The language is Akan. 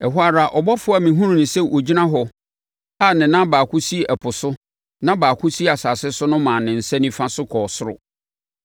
Ɛhɔ ara ɔbɔfoɔ a mehunuu sɛ ɔgyina hɔ a ne nan baako si ɛpo so na baako si asase so no maa ne nsa nifa so kɔɔ soro,